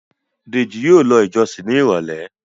Deji yíò ló ìjósìn ní irọlẹ.